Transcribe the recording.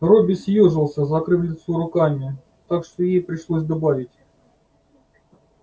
робби съёжился закрыв лицо руками так что ей пришлось добавить